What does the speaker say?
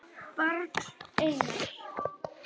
Barn: Einar.